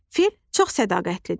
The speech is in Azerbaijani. Fil çox sədaqətlidir.